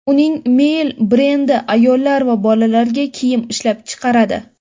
Uning Miel brendi ayollar va bolalarga kiyim ishlab chiqaradi.